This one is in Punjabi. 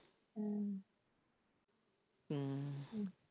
ਹਮ